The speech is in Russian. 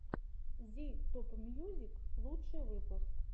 зи топмьюзик лучший выпуск